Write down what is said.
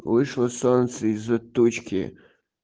вышло солнце из-за тучки